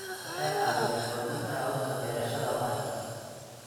Waxay caawiyaan xoojinta hababka beerashada waarta.